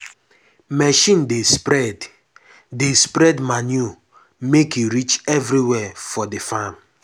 machine dey spread dey spread manure make e reach everywhere for the farm.